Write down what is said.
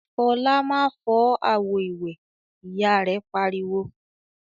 "Fọlá má fọ́ àwo-ìwẹ̀!" Ìyá rẹ̀ pariwo.